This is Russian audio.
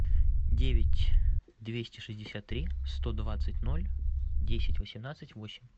девять двести шестьдесят три сто двадцать ноль десять восемнадцать восемь